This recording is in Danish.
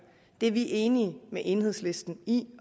det er vi enige med enhedslisten i